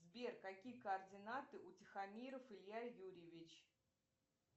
сбер какие координаты у тихомиров илья юрьевич